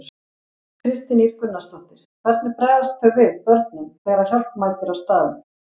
Kristín Ýr Gunnarsdóttir: Hvernig bregðast þau við, börnin, þegar að hjálp mætir á staðinn?